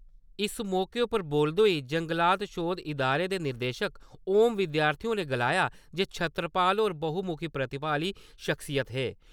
इस मौके उप्पर बोलदे होई जंगलात शौध इदारे दे निदेशक ओम विद्यार्थी होरें गलाया जे छत्रपाल होर बहु-मुखी प्रतिभा आह्ली सख्सियत हे ।